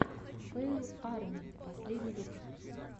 фэйл арми последний выпуск